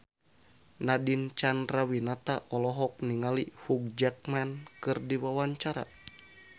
Nadine Chandrawinata olohok ningali Hugh Jackman keur diwawancara